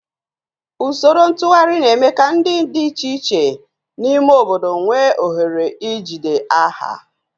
Usoro ntụgharị na-eme ka ndị dị iche iche n'ime obodo nwee ohere ijide aha